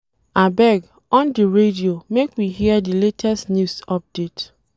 Abeg, on di radio make we hear di latest news update.